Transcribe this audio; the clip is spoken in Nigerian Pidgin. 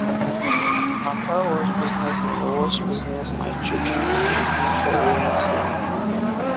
na car wash business my wash business my children the do for raining season